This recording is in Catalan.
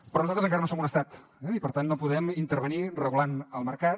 però nosaltres encara no som un estat i per tant no podem intervenir regulant el mercat